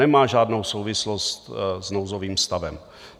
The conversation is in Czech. Nemá žádnou souvislost s nouzovým stavem.